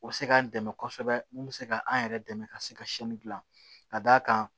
O bɛ se k'an dɛmɛ kosɛbɛ mun bɛ se ka an yɛrɛ dɛmɛ ka se ka dilan ka d'a kan